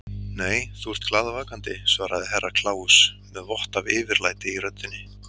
Nei, þú ert glaðvakandi, svaraði Herra Kláus með vott af yfirlæti í röddinni.